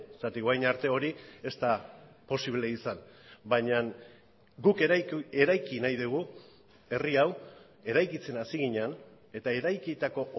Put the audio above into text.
zergatik orain arte hori ez da posible izan baina guk eraiki nahi dugu herri hau eraikitzen hasi ginen eta eraikitako